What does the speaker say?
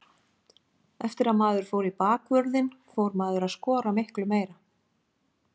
Eftir að maður fór í bakvörðinn fór maður að skora miklu meira.